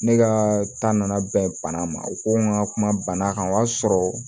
Ne ka taa na bɛn banna ma o ko n ka kuma bana kan o y'a sɔrɔ